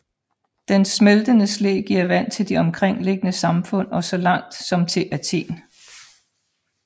Dens smeltende sne giver vand til de omkringliggende samfund og så langt som til Athen